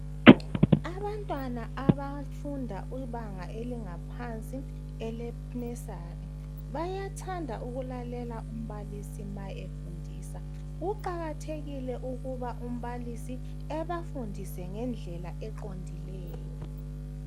Abantwana abafunda ibanga elingaphansi i-nursery bayathanda ukulalela umbalisi nxa efundisa. Kuqakathekile ukuba umbalisi abafundise ngendlela eqondileyo.